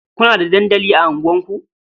Kuna da dandaki a unguwarku?